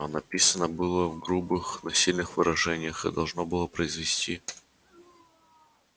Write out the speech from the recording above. а написано было в грубых но сильных выражениях и должно было произвести